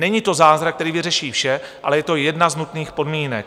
Není to zázrak, který vyřeší vše, ale je to jedna z nutných podmínek.